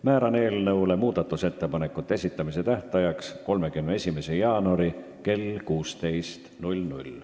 Määran eelnõu muudatusettepanekute esitamise tähtajaks 31. jaanuari kell 16.